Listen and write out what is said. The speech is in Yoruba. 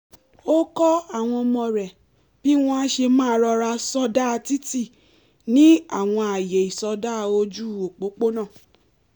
ó kọ́ àwọn ọmọ rẹ̀ bí wọ́n á ṣe máa rọra sọdá títí ní àwọn ààyè ìsọdá ójú òpópónà